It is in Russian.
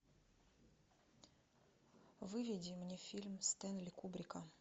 выведи мне фильм стэнли кубрика